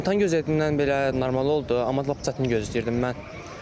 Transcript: İmtahan gözlədiyimdən belə normal oldu, amma lap çətin gözləyirdim mən.